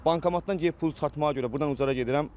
Bankomatdan gedib pul çıxartmağa görə burdan Ucara gedirəm.